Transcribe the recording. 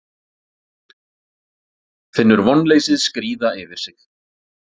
Finnur vonleysið skríða yfir sig.